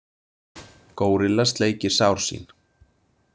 Górilla sleikir sár sín.